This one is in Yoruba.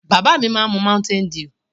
Bàbá mi má n mu mountain dew.